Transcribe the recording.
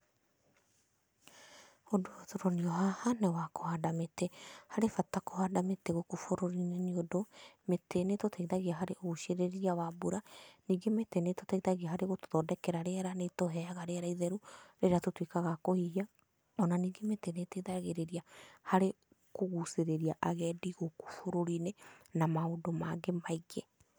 Ũndũ ũyũ tũronio haha nĩ wa kũhanda mĩtĩ. Harĩ bata kũhanda mĩtĩ gũkũ bũrũri-inĩ, nĩ ũndũ mĩtĩ nĩ ĩtũteithagia harĩ ũgucĩrĩria wa mbura. Ningĩ mĩtĩ nĩ ĩtũteithagia harĩ gũtũthondekera rĩera, nĩ tondũ nĩ ĩtũhega rĩera itheru rĩrĩa tũtuĩkaga a kũhihia, o na ningĩ mĩti nĩ ĩteithagĩrĩria harĩ kũgucĩrĩria agendi gũkũ bũrũri-inĩ na maũndũ mangĩ maingĩ.